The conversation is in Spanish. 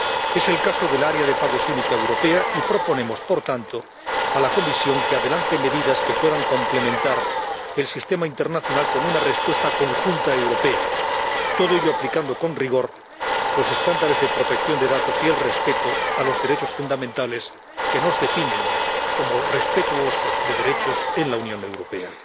Es el caso de la zona única de pagos en euros, y proponemos, por tanto, a la Comisión que adelante medidas que puedan complementar el sistema internacional con una respuesta conjunta europea, todo ello aplicando con rigor los estándares de protección de datos y el respeto a los derechos fundamentales que nos definen como respetuosos de derechos en la Unión Europea.